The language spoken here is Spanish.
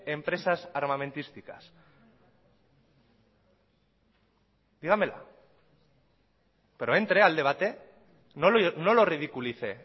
empresas armamentísticas dígamela pero entre al debate no lo ridiculice